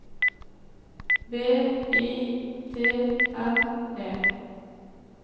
V I T N E